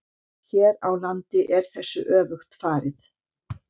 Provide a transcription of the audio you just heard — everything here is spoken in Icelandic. Hér á landi er þessu öfugt farið.